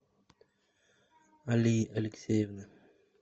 алии алексеевны